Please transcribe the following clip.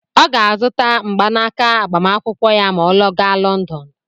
Ọ ga-azụta mgbanaka agbamakwụkwọ ya ma ọ gaa Lọndọn.